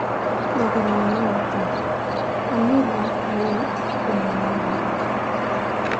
Thogora wa maguta. Amir wa Kuwait kunina mbunge